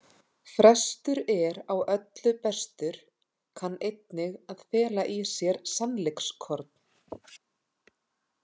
„Frestur er á öllu bestur“ kann einnig að fela í sér sannleikskorn.